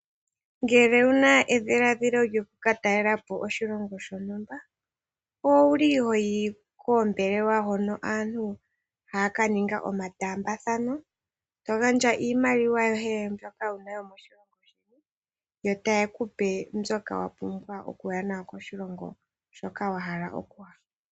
Ngele owuna edhiladhilo lyoku katalelapo oshilongo shontumba owuli hoyi koombelewa hoka aantu haya kaninga omataambathano ,eto gandja iimaliwa mbyoka yomoshilongo sheni yo tayekupe mbyoka wapumbwa okuya nayo koshilongo hoka wahala okuya.